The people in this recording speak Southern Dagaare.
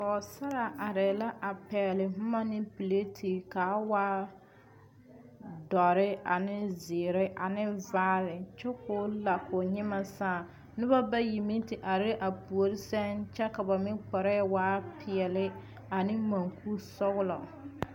pɔge sarra are la a pegeli boma ne laare kaa waa doɔre ane zeɛre ane vaare kyɛ kɔɔ la kɔɔ nyima saaŋ noba bayi te are a puori seŋ kyɛ ka ba meŋ kparre waa pɛɛle ane munku sɔglɔ.